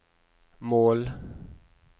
mål